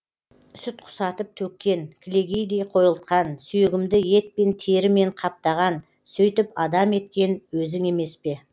сүт құсатып төккен кілегейдей қойылтқан сүйегімді етпен терімен қаптаған сөйтіп адам еткен өзің емес пе